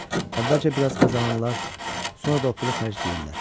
Əvvəlcə biraz qazanırlar, sonra da o pulu xərcləyirlər.